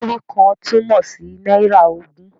Múrí kan' túmọ̀ sí náírà ogún.